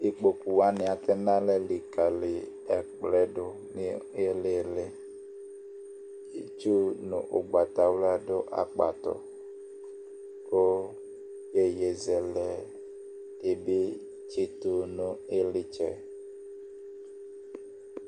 Ikpoku wanɩ atɛ nʋ alɛ likǝli ɛkplɔ yɛ dʋ nʋ ɩɩlɩ ɩɩlɩ. Itdu nʋ ʋgbatawla dʋ akpatʋ kʋ iyeyezɛlɛ dɩ bɩ tsɩtʋ nʋ ɩɣlɩtsɛ.